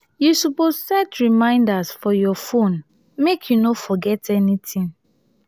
you suppose set reminders for your phone make you no forget anytin.